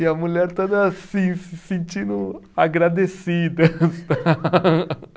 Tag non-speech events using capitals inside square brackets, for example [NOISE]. E a mulher toda assim, se sentindo agradecida. [LAUGHS] [UNINTELLIGIBLE]